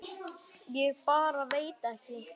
Ég bara veit ekki.